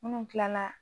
Minnu tilala